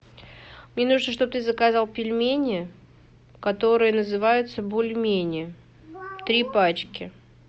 мне нужно чтобы ты заказал пельмени которые называются бульмени три пачки